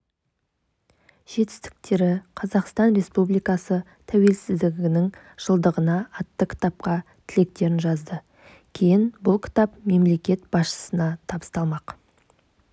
жетістіктері қазақстан республикасы тәуелсіздігінің жылдығына атты кітапқа тілектерін жазды кейін бұл кітап мемлекет басшысына табысталмақ